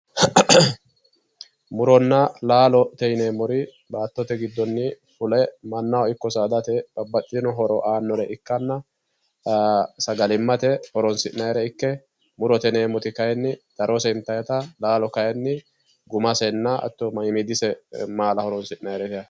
Muronna laalote yineemmori, baattote giddonni fule mannahono ikko saadate babbaxitino horo aannore ikkanna sagalimmate horonsi'nannire ikke l, murote yineemmoyi kaayiinni darose intaayiite laalo kaayiinni gumasenna hattono ise maala horonsi'nayiite yaate.